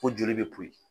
Ko joli bɛ poyi